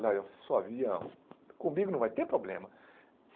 Ah eu só via... Comigo não vai ter problema.